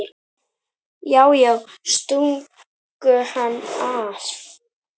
Já, já, stungu hann af!